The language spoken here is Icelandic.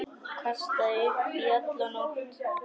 Kastaði upp í alla nótt.